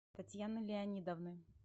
татьяны леонидовны